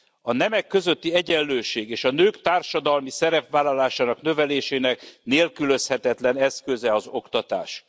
A nemek közötti egyenlőség és a nők társadalmi szerepvállalásának, növelésének nélkülözhetetlen eszköze az oktatás.